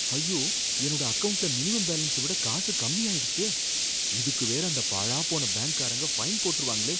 ஐயோ! என்னோட அக்கவுண்ட்ல மினிமம் பேலன்ஸ விட காசு கம்மியாயிடுச்சே, இதுக்கு வேற அந்த பாழாப்போன பேங்க்காரங்க ஃபைன் போட்டுருவாங்களே.